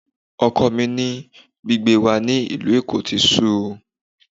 Ọkọ mi ní gbígbé wa ní ìlú Èkó ti sú òun